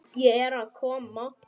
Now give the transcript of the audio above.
Ég er að koma.